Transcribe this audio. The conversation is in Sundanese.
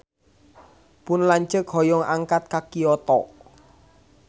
Pun lanceuk hoyong angkat ka Kyoto